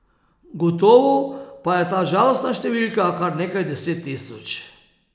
Gotovo pa je ta žalostna številka kar nekaj deset tisoč.